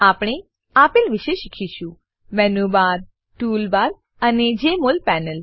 આપણે આપેલ વિશે શીખીશું menu bar menu bar tool bar tool bar અને જમોલ પેનલ